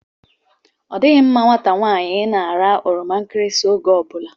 Ọdịghị mma nwata nwaanyị ịna-ara oroma nkirisi oge ọbụla